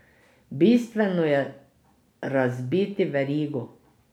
Bistveno je razbiti verigo.